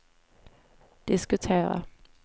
diskutera